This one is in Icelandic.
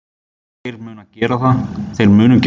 Þeir munu gera það.